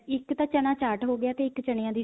ਇੱਕ ਤਾ ਚਨਾ ਚਾਰਟ ਹੋ ਗਿਆ ਤੇ ਇੱਕ ਚਨਿਆ ਦੀ